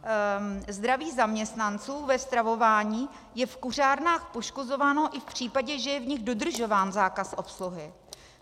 Zdraví zaměstnanců ve stravování je v kuřárnách poškozováno i v případě, že je v nich dodržován zákaz obsluhy.